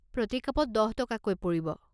প্ৰতি কাপত দহ টকাকৈ পৰিব।